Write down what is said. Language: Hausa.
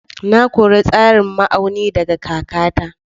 Na koyi tsarin ma'auni daga kakata.